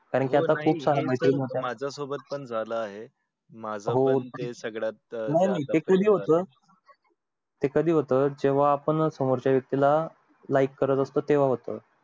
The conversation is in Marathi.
माझ्या सोबत पण झालं आहे माझ पण हे सगळ्यात हे सगळ्यात नाय नाय ते कधी होत कधी होत जेव्हा पण समोरच्या व्यक्ती ला like करत असतो तेव्हा होत